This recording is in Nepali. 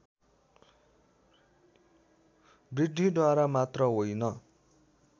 वृद्धिद्वारा मात्र होइन